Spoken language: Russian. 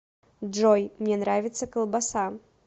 джой мне нравится колбаса